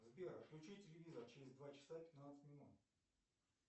сбер отключи телевизор через два часа пятнадцать минут